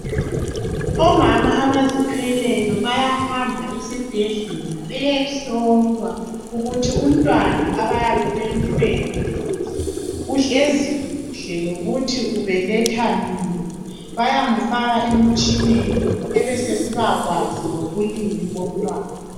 Omama abazithweleyo bayahamba esibhedlela beyehlolwa ukuthi umntwana abayabe bemthwele uhlezi kuhle lokuthi ubeletha nini bayamfaka emitshineni ebesesiba kwazi lobulili bomntwana.